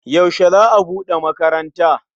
Yaushe za a buɗe makaranta?